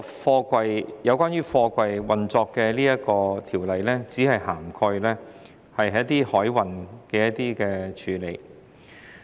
這項有關貨櫃運作的條例只涵蓋海運的處理。